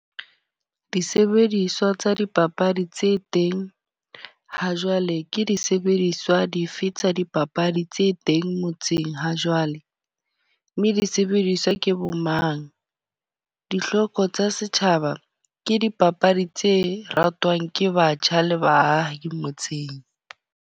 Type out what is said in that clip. Disebediswa tsa dipapadi tse teng ha jwale, ke disebediswa dife tsa dipapadi tse teng motseng ha jwale? Mme disebediswa ke bo mang? Dihloko tsa setjhaba ke dipapadi tse ratwang ke batjha le baahi motseng.